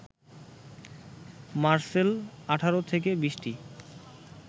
মারসেল ১৮ থেকে ২০টি